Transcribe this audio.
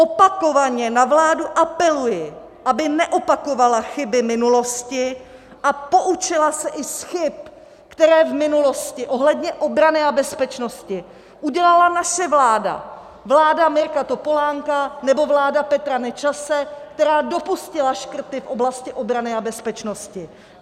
Opakovaně na vládu apeluji, aby neopakovala chyby minulosti a poučila se i z chyb, které v minulosti ohledně obrany a bezpečnosti udělala naše vláda, vláda Mirka Topolánka nebo vláda Petra Nečase, která dopustila škrty v oblasti obrany a bezpečnosti.